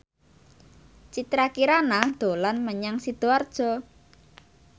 Citra Kirana dolan menyang Sidoarjo